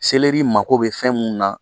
mako bɛ fɛn mun na.